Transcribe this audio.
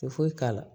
Te foyi k'a la